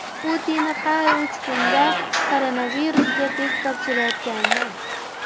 Putin har uch kunda koronavirusga test topshirayotganini aytdi.